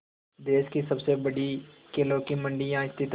देश की सबसे बड़ी केलों की मंडी यहाँ स्थित है